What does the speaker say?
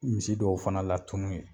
Misi dɔw fana latun yen